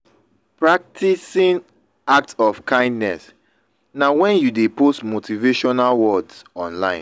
practing act of kindness na when you de post motivational words online